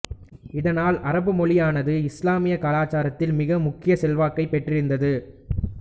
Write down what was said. இதனால் அரபுமொழியானது இஸ்லாமிய கலாச்சாரத்தில் மிக முக்கிய செல்வாக்கைப் பெற்றிருந்தது